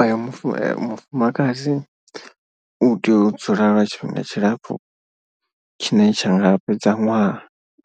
O yo mufu mufumakadzi u tea u dzula lwa tshifhinga tshilapfhu tshine tsha nga fhedza ṅwaha